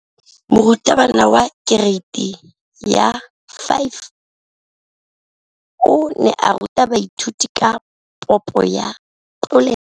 Moratabana wa kereiti ya 5 o ne a ruta baithuti ka popô ya polelô.